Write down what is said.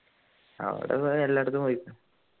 അവിടെ ഏർ എല്ലായിടത്തും പോയി